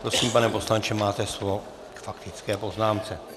Prosím, pane poslanče, máte slovo k faktické poznámce.